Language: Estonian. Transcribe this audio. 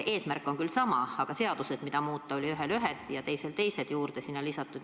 Eesmärk on küll sama, aga seadused, mida muuta, olid ühel ühed ja teisel olid teised juurde lisatud.